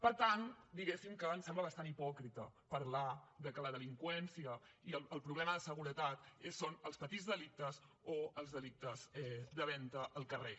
per tant diguéssim ens sembla bastant hipòcrita parlar que la delinqüència i el problema de seguretat són els petits delictes o els delictes de venda al carrer